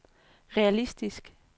realistisk